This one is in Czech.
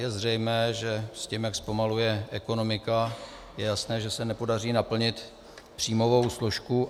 Je zřejmé, že s tím, jak zpomaluje ekonomika, je jasné, že se nepodaří naplnit příjmovou složku.